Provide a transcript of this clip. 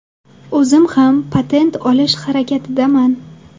O‘zim esa patent olish harakatidaman.